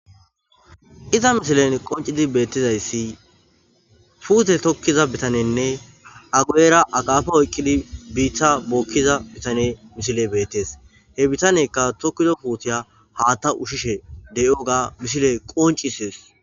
Iza misilen qoncid betizays puute tokiza bitanene a guyera akafa oykid biita bokiza bitane misiley betes, he bitaneyka tokido putiya hata ushishe diyoga ha misiley qoncisesi.